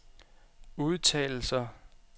udtalelser